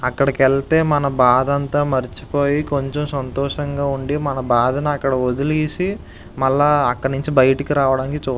అక్కడికి వెళ్తే మన బాధ అంత మర్చిపోయి కొంచం సంతోషంగా ఉంది మన బాధని అక్కడ ఒదిలి మల్ల అక్కడినుంచి బైటకి రావడాన్కి చూస్తాము.